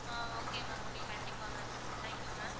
ஆஹ் okay ma'am okay கண்டிப்பா ma'am thank you ma'am